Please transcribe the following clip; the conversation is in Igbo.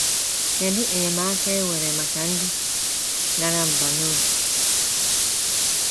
Kedụ enyemaka e nwere maka ndị dara mbà n’obi?